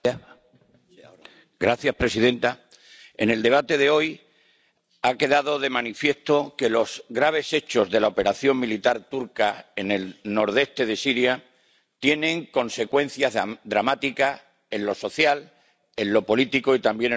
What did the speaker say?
Señora presidenta, en el debate de hoy ha quedado de manifiesto que los graves hechos de la operación militar turca en el nordeste de Siria tienen consecuencias dramáticas en lo social, en lo político y también en lo económico.